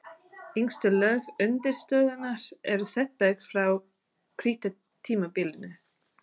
Yngstu lög undirstöðunnar eru setberg frá krítartímabilinu.